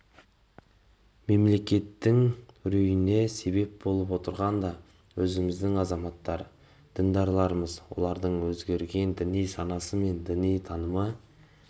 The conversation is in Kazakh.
мемлекеттің үрейіне себеп болып отырған да өзіміздің азаматтар діндарларымыз олардың өзгерген діни санасы мен діни танымы